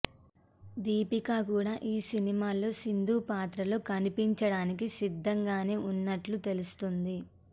దీపికా కూడా ఈ సినిమాలో సిందూ పాత్రలో కనిపించడానికి సిద్ధంగానే ఉన్నట్లు తెలుస్తుంది